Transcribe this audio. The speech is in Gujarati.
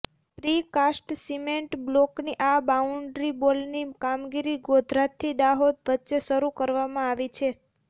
પ્રી કાસ્ટ સીમેન્ટ બ્લોકની આ બાઉન્ડ્રીવોલ ની કામગીરી ગોધરાથી દાહોદ વચ્ચે શરૂ કરવામાં આવી છે